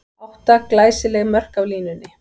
Átta glæsileg mörk af línunni!